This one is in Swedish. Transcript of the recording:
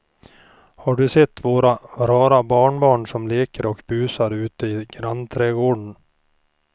Har du sett våra rara barnbarn som leker och busar ute i grannträdgården!